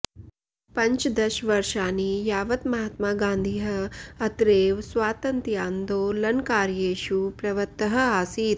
पञ्चदशवर्षाणि यावत् महात्मा गान्धिः अत्रैव स्वातन्त्यान्दोलनकार्येषु प्रवृत्तः आसीत्